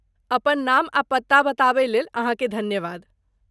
अपन नाम आ पता बताबय लेल अहाँके धन्यवाद।